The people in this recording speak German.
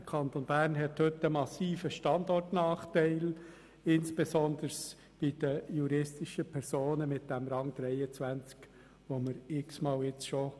Der Kanton Bern hat heute einen massiven Standortnachteil, insbesondere bei den juristischen Personen.